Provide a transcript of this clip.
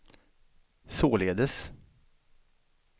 således